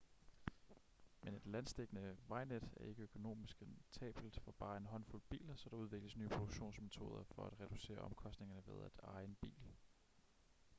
men et landsdækkende vejnet er ikke økonomisk rentabelt for bare en håndfuld biler så der udvikles nye produktionsmetoder for at reducere omkostningerne ved at eje en bil